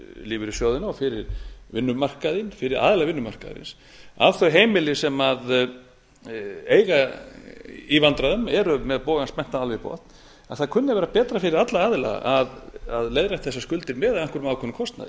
lífeyrissjóðina og fyrir aðila vinnumarkaðarins að þau heimili sem eiga í vandræðum eru með bogann spenntan alveg í botn að það kunni að vera betra fyrir alla aðila að leiðrétta þessar skuldir með einhverjum ákveðnum kostnaði